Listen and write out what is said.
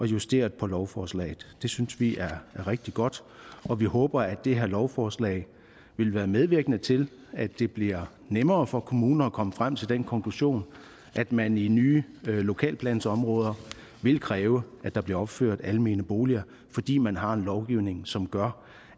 justeret på lovforslaget det synes vi er rigtig godt og vi håber at det her lovforslag vil være medvirkende til at det bliver nemmere for kommunerne at komme frem til den konklusion at man i nye lokalplansområder vil kræve at der bliver opført almene boliger fordi man har en lovgivning som gør